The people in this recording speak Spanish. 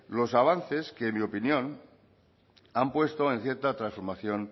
los avances que en mi opinión han puesto en cierta transformación